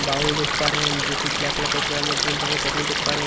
bowl देख पा रहे हैं जो की ब्लैक कलर का उसमें हम लोग ग्रीन कलर का चटनी देख पा रहें--